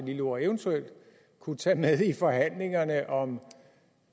lille ord eventuelt kunne tage med i forhandlingerne om